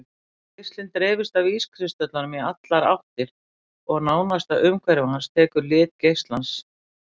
Geislinn dreifist af ískristöllunum í allar áttir og nánasta umhverfi hans tekur lit geislans.